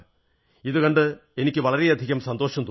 ഇതുകണ്ട് എനിക്ക് വളരെയധികം സന്തോഷം തോന്നുന്നു